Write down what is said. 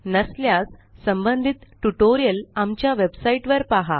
नसल्यास संबंधित ट्युटोरियल आमच्या वेबसाईटवर पहा